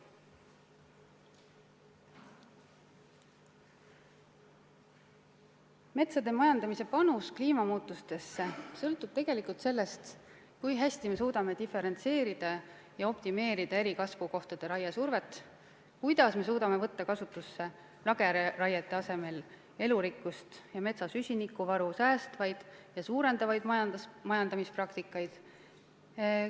Metsade majandamise panus kliimamuutustesse sõltub tegelikult sellest, kui hästi me suudame diferentseerida ja optimeerida eri kasvukohtade raiesurvet, kuidas me suudame lageraiete asemel toetada elurikkust ja metsa süsinikuvaru säästvaid ja suurendavaid majandamispraktikaid.